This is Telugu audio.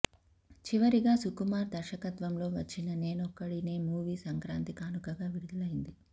చివరిగా సుకుమార్ దర్శకత్వంలో వచ్చిన నేనొక్కడినే మూవీ సంక్రాంతి కానుకగా విడుదలైంది